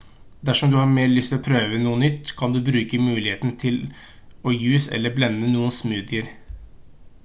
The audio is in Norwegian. dersom du har mer lyst til å prøve noe nytt kan du bruke muligheten til å juice eller blende noen smoothier